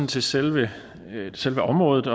til selve selve området